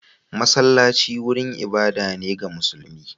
Masallaci wurin ibada ne ga musulmi.